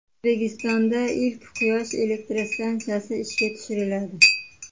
O‘zbekistonda ilk quyosh elektrostansiyasi ishga tushiriladi.